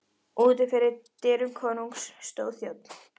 Úti fyrir dyrum konungs stóð þjónn.